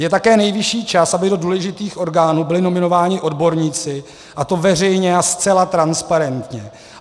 Je také nejvyšší čas, aby do důležitých orgánů byli nominováni odborníci, a to veřejně a zcela transparentně.